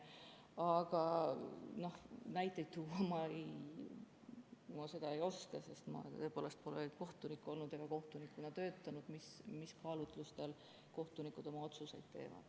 Aga näiteid tuua ma ei oska, sest ma tõepoolest pole kohtunik olnud ega kohtunikuna töötanud, et öelda, mis kaalutlustel kohtunikud oma otsuseid teevad.